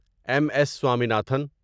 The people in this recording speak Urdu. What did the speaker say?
M S Swaminathan